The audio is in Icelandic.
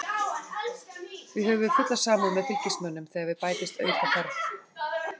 Því höfum við fulla samúð með Fylkismönnum þegar við bætist aukaferð.